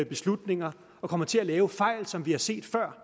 beslutninger og kommer til at lave fejl som det er set før